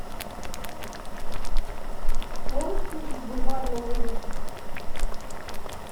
можешь включить бульварные ужасы